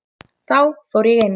Þá fór ég inn.